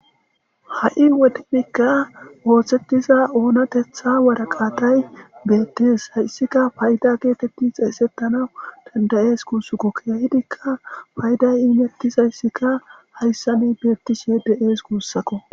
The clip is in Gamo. ha7i wodekka oosetiza oonatetha waraqaatay beettes hayssika payda geetetti xeesettanawu danda7ees guussakko keehidikka payday imetizayssikka hayssani beettishe de7ees guussako.